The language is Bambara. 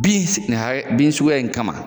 Bin si nin hakɛ bin suguya in kama